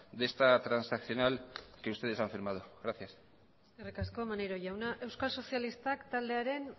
de esta transaccional que ustedes han firmado gracias eskerrik asko maneiro jauna euskal sozialistak taldearen